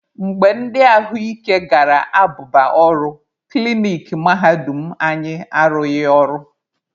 Mgbe ndi ahụ ike gara abụba ọrụ, klinik mahadum anyị arụghị ọrụ.